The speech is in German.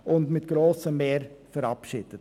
Dieses wurde mit grosser Mehrheit verabschiedet.